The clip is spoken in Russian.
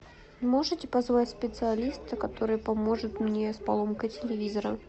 можете позвать специалиста который поможет мне с поломкой телевизора